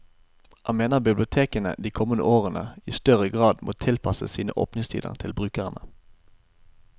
Han mener bibliotekene de kommende årene i større grad må tilpasse sine åpningstider til brukerne.